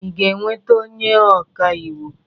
Ị ga-enweta onye ọka iwu?